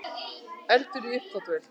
Eldur í uppþvottavél